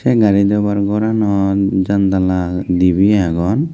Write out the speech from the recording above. a gari dobar goranot jandla debe agon.